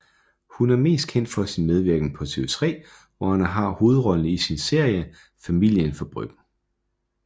Hun er mest kendt for sin medvirken på TV3 hvor hun har hovedrollen i sin serie Familien fra Bryggen